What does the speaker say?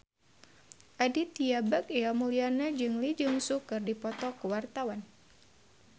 Aditya Bagja Mulyana jeung Lee Jeong Suk keur dipoto ku wartawan